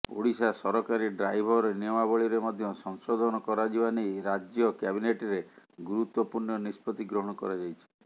ଓଡ଼ିଶା ସରକାରୀ ଡ୍ରାଇଭର ନିୟମାବଳୀରେ ମଧ୍ୟ ସଂଶୋଧନ କରାଯିବା ନେଇ ରାଜ୍ୟ କ୍ୟାବିନେଟରେ ଗୁରୁତ୍ୱପୂର୍ଣ୍ଣ ନିଷ୍ପତି ଗ୍ରହଣ କରାଯାଇଛି